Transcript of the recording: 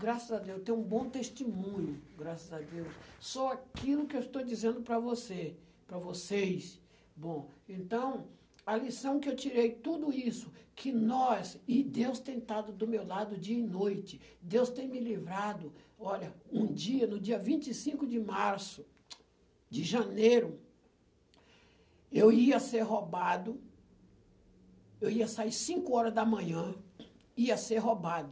graças a Deus, tenho um bom testemunho, graças a Deus, sou aquilo que eu estou dizendo para você, para vocês, bom, então, a lição que eu tirei, tudo isso, que nós, e Deus tem estado do meu lado dia e noite, Deus tem me livrado, olha, um dia, no dia vinte e cinco de março, de janeiro, eu ia ser roubado, eu ia sair cinco horas da manhã, ia ser roubado,